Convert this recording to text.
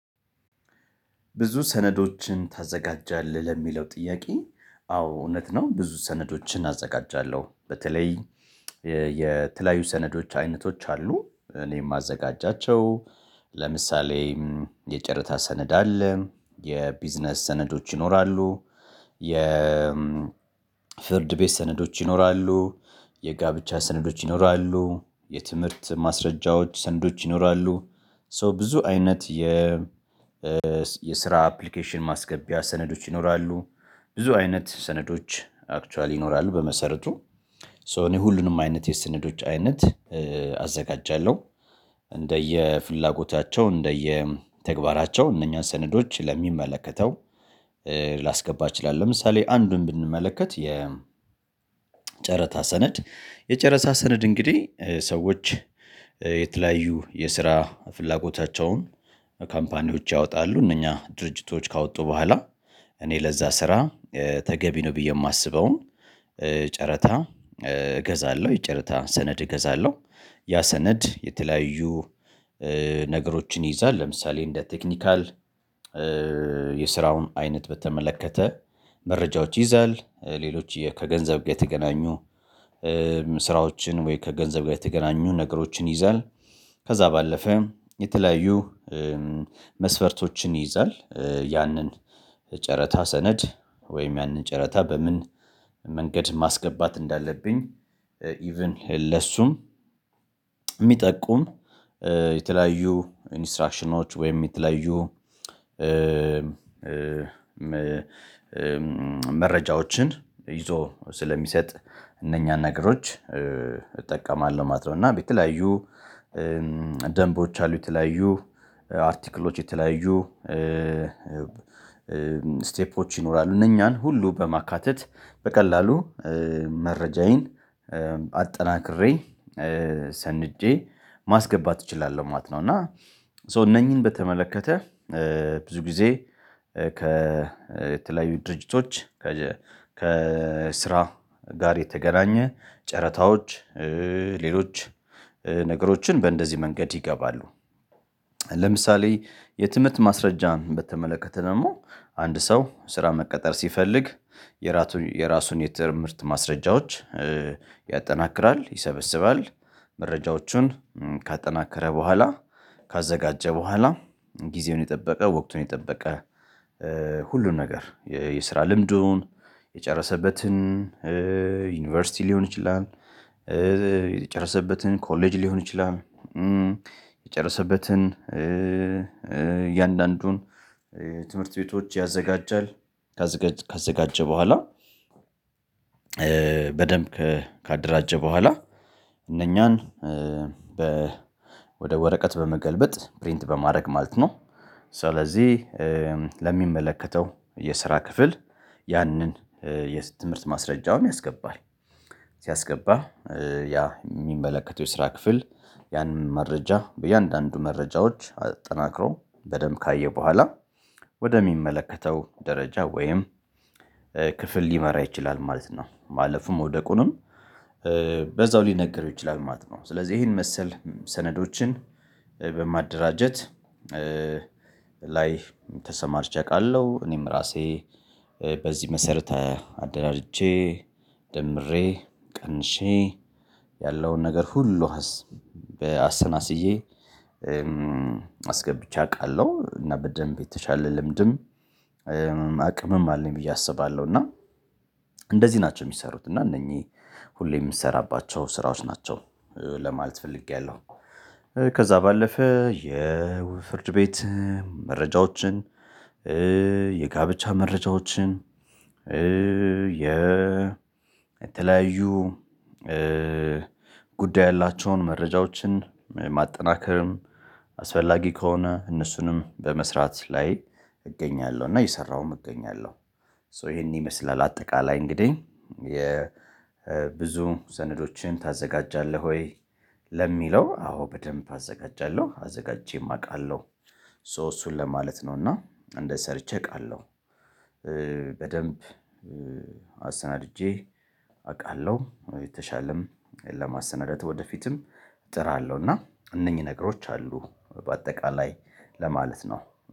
ብዙ ሰነዶችን ታዘጋጃለህ ለሚለው ጥያቄ አዎ እውነት ነው ብዙ ሰነዶችን አዘጋጃለሁ። በተለይ የተለያዩ ሰነዶች አይነቶች አሉ እኔ እማዘጋጃቸው። ለምሳሌ የጨረታ ሰነድ አለ የቢዝነስ ሰነዶች ይኖራሉ። የ ፍርድ ቤት ሰነዶች ይኖራሉ። የጋብቻ ሰነዶች ይኖራሉ። የትምህርት ማስረጃዎች ሰነዶች ይኖራሉ። ሶ ብዙ አይነት የስራ አፕሊኬሽን ማስገቢያ ሰነዶች ይኖራሉ። ብዙ አይነት ሰነዶች አክቹዋሊ ይኖራሉ በመሰረቱ ሶ እኔ ሁሉንም አይነት የስነዶች አይነት አዘጋጃለሁ። እንደየ ፍላጎታቸው እንደየ ተግባራቸው እነኛ ሰነዶች ለሚመለከተው ላስገባ እችላለሁ። ለምሳሌ አንዱን ብንመለከት የ ጨረታ ሰነድ የጨረታ ሰነድ እንግዲህ ሰዎች የተለያዩ የስራ ፍላጎታቸውን ካምፓኒዎች ያወጣሉ እነኛ ድርጅቶች ካወጡ በኋላ እኔ ለዛ ስራ ተገቢ ነው ብዬ የማስበውን ጨረታ እገዛለሁ የጨረታ ሰነድ እገዛለሁ። ያ ሰነድ የተለያዩ ነገሮችን ይይዛል ለምሳሌ እንደ ቴክኒካል የስራውን አይነት በተመለከተ መረጃዎች ይይዛል። ሌሎች ከገንዘብ ጋ የተገናኙ ስራዎችን ወይ ከገንዘብ ጋ የተገናኙ ነገሮችን ይይዛል። ከዛ ባለፈ የተለያዩ መስፈርቶችን ይይዛል። ያንን ጨረታ ሰነድ ወይም ያንን ጨረታ በምን መንገድ ማስገባት እንዳለብኝ ኢቭን ለሱም እሚጠቁም የተለያዩ ኢንስትራክሽኖች ወይም የተለያዩ መረጃዎችን ይዞ ስለሚሰጥ እነኛን ነገሮች እጠቀማለሁ ማለት ነው። እና የተለያዩ ደንቦች አሉ የተለያዩ አርቲክሎች የተለያዩ ስቴፖች ይኖራሉ እነኛን ሁሉ በማካተት በቀላሉ መረጃዬን አጠናክሬ ሰንጄ ማስገባት እችላለሁ ማለት ነው። እና ሶ እነኚህን በተመለከተ ብዙ ጊዜ ከ የተለያዩ ድርጅቶች ከስራ ጋር የተገናኘ ጨረታዎች ሌሎች ነገሮችን በእንደዚህ መንገድ ይገባሉ። ለምሳሌ የትምህርት ማስረጃን በተመለከተ ደግሞ አንድ ሰው ስራ መቀጠር ሲፈልግ የራሱን የትምህርት ማስረጃዎች ያጠናክራል ይሰበስባል መረጃዎቹን ካጠናከረ በኋላ ካዘጋጀ በኋላ ጊዜውን የጠበቀ ወቅቱን የጠበቀ ሁሉም ነገር የስራ ልምዱን የጨረሰበትን ዩኒቨርሲቲ ሊሆን ይችላል። የጨረሰበትን ኮሌጅ ሊሆን ይችላል። የጨረሰበትን እያንዳንዱን ትምህርት ቤቶች ያዘጋጃል። ካዘጋጀ በኋላ በደንብ ካደራጀ በኋላ እነኛን ወደ ወረቀት በመገልበጥ ፕሪንት በማድረግ ማለት ነው። ስለዚህ ለሚመለከተው የስራ ክፍል ያንን የትምህርት ማስረጃውን ያስገባል። ሲያስገባ ያ የሚመለከተው የስራ ክፍል ያንን መረጃ በእያንዳንዱ መረጃዎች አጠናክሮ በደንብ ካየ በኋላ ወደሚመለከተው ደረጃ ወይም ክፍል ሊመራ ይችላል ማለት ነው። ማለፉም መውደቁንም በዛው ሊነገረው ይችላል ማለት ነው። ስለዚህ ይሄን መሰል ሰነዶችን በማደራጀት ላይ ተሠማርቼ አቃለሁ። እኔም ራሴ በዚህ መሰረት አደራጅቼ ደምሬ ቀንሼ ያለውን ነገር ሁሉ አሰናስዬ አስገብቼ አቃለሁ። እና በደንብ የተሻለ ልምድም አቅምም አለኝ ብዬ አስባለሁ። እና እንደዚህ ናቸው የሚሰሩት እና እነኚህ ሁሌ የምትሰራባቸው ስራዎች ናቸው ለማለት ፈልጌያለሁ። ከዛ ባለፈ የፍርድ ቤት መረጃዎችን የጋብቻ መረጃዎችን የተለያዩ ጉዳይ ያላቸውን መረጃዎችን ማጠናከርም አስፈላጊ ከሆነ እነሱንም በመስራት ላይ እገኛለሁ። እና እየሰራሁም እገኛለሁ። ሶ ይሄን ይመስላል አጠቃላይ እንግዲህ የ ሰነዶችን ታዘጋጃለህ ወይ? ለሚለው አዎ በደንብ አዘጋጃለሁ አዘጋጅቼም አውቃለሁ። ሶ እሱን ለማለት ነው እና አንደ ሰርቼ አውቃለሁ። በደንብ አሰናድጄ አቃለሁ የተሻለም ለማሰናዳት ወደፊትም እጥራለሁ እና እነኚህ ነገሮች አሉ በአጠቃላይ ለማለት ነው።